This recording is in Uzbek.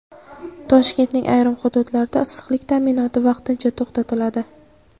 Toshkentning ayrim hududlarda issiqlik ta’minoti vaqtincha to‘xtatiladi.